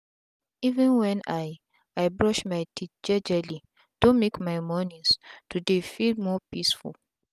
even wen i i brush my teeth jejeli don make my mornins to dey feel more peaceful.